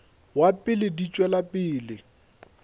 wa pele di tšwela pele